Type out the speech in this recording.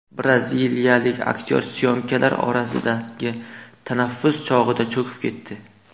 Braziliyalik aktyor syomkalar orasidagi tanaffus chog‘ida cho‘kib ketdi.